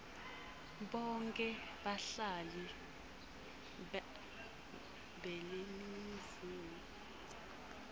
bonkhe bahlali beleningizimu